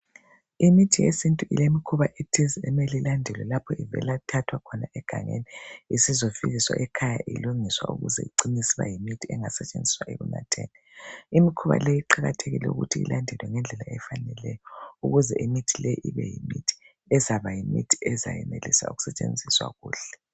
Imithi yesintu ilemikhuba ethize, emele ilandelwe lapho ivelwa thathwa khona egangeni. lsizofikiswa ekhaya, ilungiswa, ukuze icine. isiba yimithi engasetshenziswa ekunatheni. lmikhuba le, kuqakathekile ukuthi ilandelwe ngendlela efaneleyo, ukuze imithi le, ibeyimithi ezabayimithi, ezabalakho ukuthi isetshenziswe kuhle.